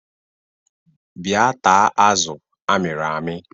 Bia taa azụ amiri ami